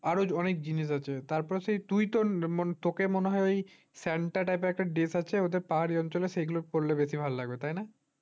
তারপর আরো অনেক জিনিস আছে তারপর তুই তোর তোকে মনে হয় ওই santa type র একটা dress আছে ওদের পাহাড়ি অঞ্চলের ওই পড়লে বেশি ভালো লাগবে তাই না